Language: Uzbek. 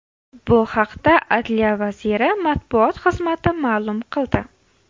Bu haqda Adliya vazirli matbuot xizmati ma’lum qildi .